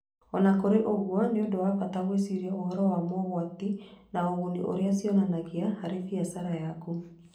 O na kũrĩ ũguo, nĩ ũndũ wa bata gwĩciria ũhoro wa mogwati na ũguni ũrĩa cionanagia harĩ biacara yaku.